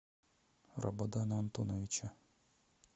рабадана антоновича